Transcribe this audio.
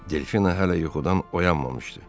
Delfina hələ yuxudan oyanmamışdı.